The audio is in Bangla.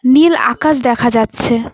নীল আকাশ দেখা যাচ্ছে।